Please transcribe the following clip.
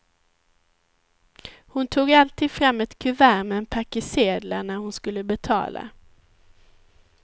Hon tog alltid fram ett kuvert med en packe sedlar när hon skulle betala.